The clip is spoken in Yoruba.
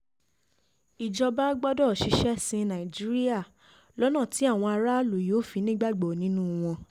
ìjọba gbọ́dọ̀ ṣiṣẹ́ sin nàìjíríà lọ́nà tí àwọn aráàlú yóò fi nígbàgbọ́ nínú wọn